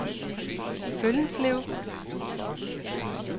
Føllenslev